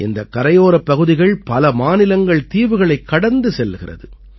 இந்தக் கரையோரப் பகுதிகள் பல மாநிலங்கள்தீவுகளைக் கடந்து செல்கிறது